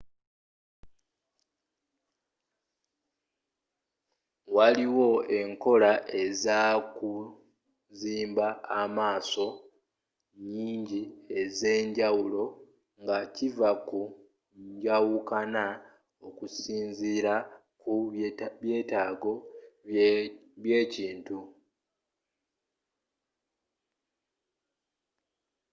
waliwo enkola ezokuzimba amaaso nyingi ez'enjawulo nga kiva ku njawukana okusinzira ku byetaago bye ekintu